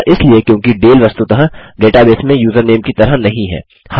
ऐसा इसलिए क्योंकि डाले वस्तुतः डेटाबेस में यूज़रनेम की तरह नहीं है